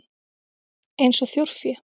Eins og þjórfé?